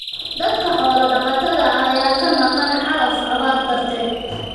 Dadka xoola dhaqatada ah ayaa ka maqan calaf abaar darteed.